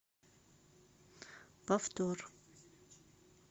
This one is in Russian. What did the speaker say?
повтор